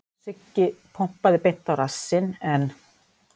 Siggi pompaði beint á rassinn en